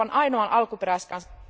Euroopan ainoan alkuperäiskansan